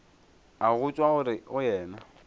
a go tšwa go yena